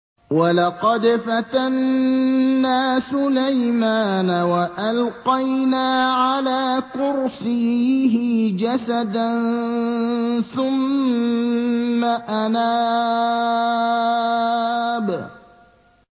وَلَقَدْ فَتَنَّا سُلَيْمَانَ وَأَلْقَيْنَا عَلَىٰ كُرْسِيِّهِ جَسَدًا ثُمَّ أَنَابَ